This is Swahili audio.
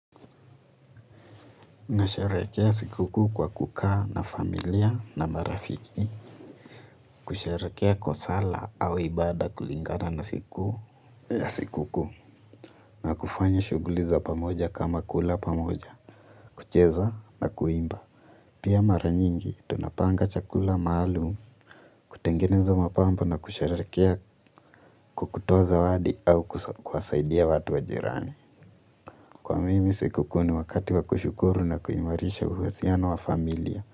Nasharehekea sikukuu kwa kukaa na familia na marafiki, kusherehekea kwa sala au ibada kulingana na siku ya sikukuu, na kufanya shughuli za pamoja kama kula pamoja, kucheza na kuimba. Pia mara nyingi tunapanga chakula maalum, kutengeneza mapambo na kusherehekea kwa kutoa zawadi au kuwasaidia watu wa jirani. Kwa mimi sikukuu ni wakati wa kushukuru na kuimarisha uhusiano wa familia.